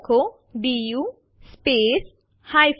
તે બે ફાઈલો ને બાઈટ દ્વારા બાઇટ સરખાવે છે